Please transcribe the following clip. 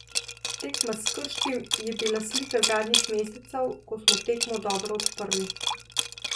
Tekma s Krškim je bila slika zadnjih mesecev, ko smo tekmo dobro odprli.